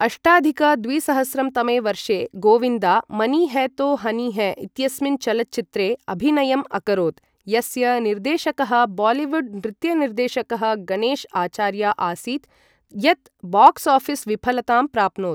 अष्टाधिक द्विसहस्रं तमे वर्षे गोविन्दा 'मनी है तो हनी है' इत्यस्मिन् चलच्चित्रे अभिनयम् अकरोत्, यस्य निर्देशकः बालीवुड् नृत्यनिर्देशकः गणेश आचार्या आसीत्, यत् बाक्स् आफिस् विफलतां प्राप्नोत्।